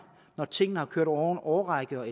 når tingene har kørt over en årrække og